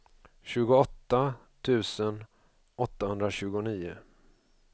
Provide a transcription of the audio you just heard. tjugoåtta tusen åttahundratjugonio